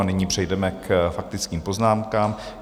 A nyní přejdeme k faktickým poznámkám.